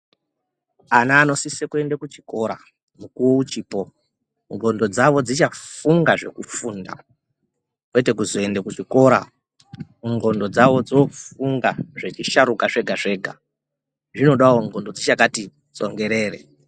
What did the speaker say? Ana anosisa kuenda kuchikora nekuchipo ndxondo dzavo dzichafunga zvokufunda kwete kuzoenda kuchikora ndxondo dzawo dzofunga zvechisharuka zvega zvega zvinodawo ndxondo dzichakati tsongerere .